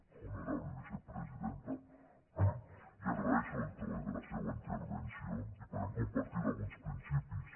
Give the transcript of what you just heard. honorable vicepresidenta li agraeixo el to eh de la seua intervenció i podem compartir alguns principis